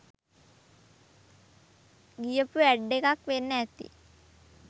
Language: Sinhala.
ගියපු ඇඩ් එකක් වෙන්න ඇති.